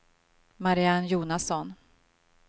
Marianne Jonasson